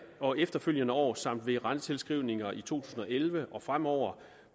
og efterfølgende år samt ved rentetilskrivninger i to tusind og elleve og fremover